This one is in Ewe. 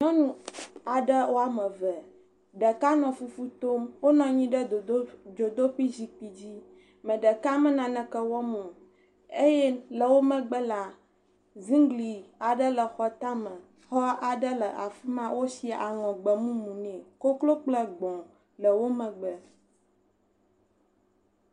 Nyɔnu aɖe woame eve. Ɖeka nɔ fufu tom. Wonɔ anyi ɖe dzodoƒe zikpui dzi. Me ɖeka me naneke wɔm o eye le wò megbe la, zingli aɖe le xɔ tame. Xɔ aɖe le afima, wosi anɔ gbemumu ne. Koklo kple gbɔ̃le wò megbe.